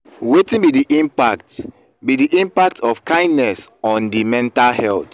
wetin be di impact be di impact of kindness on di mental health?